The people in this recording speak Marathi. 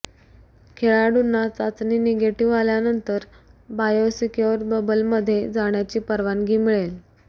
खेळाडूंना चाचणी निगेटिव्ह आल्यानंतर बायो सेक्यूर बबलमध्ये जाण्याची परवानगी मिळेल